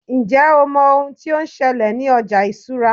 njé o mọ oun ti o n ṣẹlẹ ní ọjà ìṣura